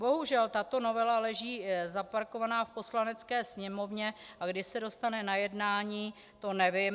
Bohužel tato novela leží zaparkovaná v Poslanecké sněmovně, a kdy se dostane na jednání, to nevím.